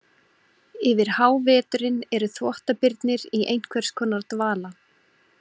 Yfir háveturinn eru þvottabirnir í einhvers konar dvala.